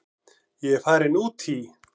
Ég er farin út í.